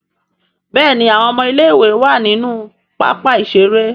Béèni àwọn ọmọ ilé ìwé wá nínú pápá ìṣeré..